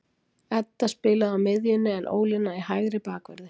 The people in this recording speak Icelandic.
Edda spilaði á miðjunni en Ólína í hægri bakverði.